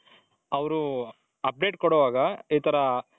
ಅವರು update ಕೊಡೋವಾಗ ಈ ತರ .